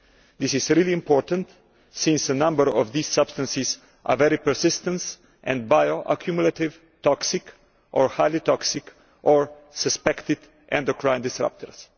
This is really important since a number of these substances are very persistent and bio accumulative, toxic or highly toxic or suspected endocrine disrupters.